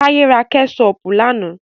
Táyé ra kẹ́ṣọpù lánà.